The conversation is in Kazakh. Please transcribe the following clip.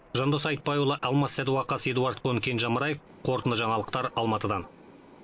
жандос айтбайұлы алмас сәдуақас эдуард кон кенже амраев қорытынды жаңалықтар алматыдан